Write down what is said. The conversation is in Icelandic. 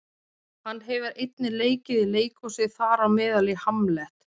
hann hefur einnig leikið í leikhúsi þar á meðal í hamlet